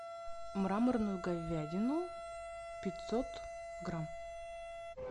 мраморную говядину пятьсот грамм